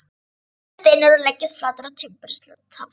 Svenni stynur og leggst flatur á timburstaflann.